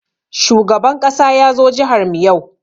Shugaban ƙasa ya zo jihar mu yau.